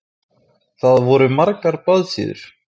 Það voru margar blaðsíður.